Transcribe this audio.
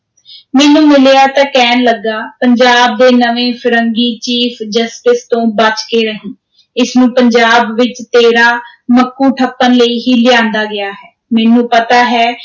ਮੈਨੂੰ ਮਿਲਿਆ ਤਾਂ ਕਹਿਣ ਲੱਗਾ, ਪੰਜਾਬ ਦੇ ਨਵੇਂ ਫ਼ਿਰੰਗੀ chief justice ਤੋਂ ਬਚ ਕੇ ਰਹੀਂ, ਇਸ ਨੂੰ ਪੰਜਾਬ ਵਿਚ ਤੇਰਾ ਮੱਕੂ ਠੱਪਣ ਲਈ ਹੀ ਲਿਆਂਦਾ ਗਿਆ ਹੈ, ਮੈਨੂੰ ਪਤਾ ਹੈ